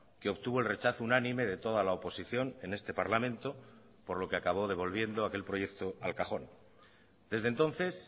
que obtuvo el rechazo unánime de toda la oposición en este parlamento por lo que acabó devolviendo aquel proyecto al cajón desde entonces